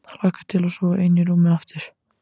Hlakka til að sofa ein í rúmi aftur.